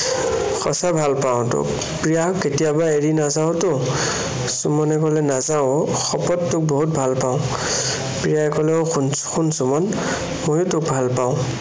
সঁচা ভালপাওঁ তোক। প্ৰিয়া, কেতিয়াবা এৰি নাযাৱ ত'? সুমনে কলে, নাযাও অ, শপত তোক বহুত ভালপাওঁ। প্ৰিয়াই কলে, অ সোণ, শুন সুমন মইও তোক ভালপাওঁ।